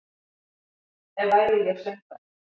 Ef væri ég söngvari